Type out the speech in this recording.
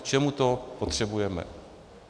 K čemu to potřebujeme?